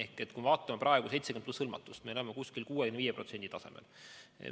Kui me vaatame praegu 70+ hõlmatust, siis oleme 65% tasemel.